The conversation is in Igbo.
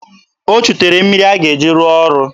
O chutere mmiri a ga-eji rụọ ọrụ.